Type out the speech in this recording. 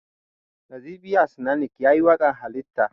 Nazifi Asnanic shi yayi waƙan Halitta